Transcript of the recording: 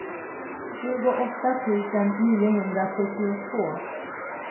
tjugoåtta tusen niohundrafyrtiotvå